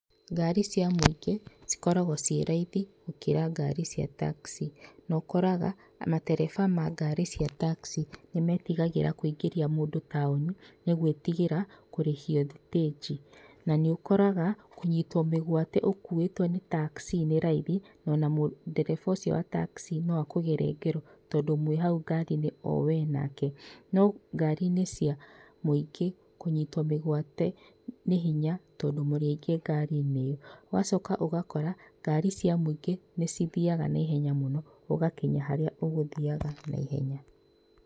Ngari cia mũingĩ cikoragwo ciĩ raithi gũkira ngari cia taxi na ũkoraga matereba ma ngari cia taxi nĩmetigagĩra kũingĩria mũndũ taũni, nĩgwĩtigĩra kũrĩhio thitĩnji. Na nĩ ũkoraga kũnyitwo mĩgwate ũkuuĩtwo nĩ taxi nĩ raithi, na ona ndereba ũcio wa taxi no akũgere ngero tondũ mwĩ hau ngari-inĩ o we nake. No ngari-inĩ cia mũingĩ, kũnyitwo mĩgwate nĩ hinya, tondũ mũrĩ aingĩ ngari-inĩ ĩyo. Ũgacoka ũgakora ngari cia mũingĩ nĩ cithiaga na ihenya mũno, ũgakinya harĩa ũgũthiaga naihenya.